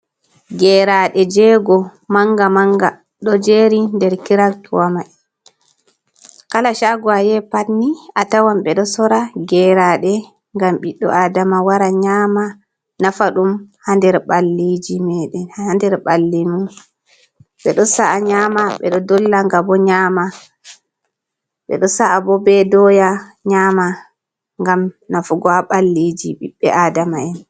Geraɗe jego Manga Manga ɗo jeri der kiretwa mai. Kala shago ayehi patni atawan ɓe ɗo Sorra geraɗe. ngam bidɗo adama wara nyama nafa ɗum ha nder ɓalleji meɗen ha nder ɓallemen. Ɓeɗo sa'a nyama ɓe ɗo dolla ngabo nyama be ɗo sa’a bo be doya nyama ngam Nafugo ha ɓalleji ɓibɓe Adama'en.